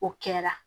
O kɛra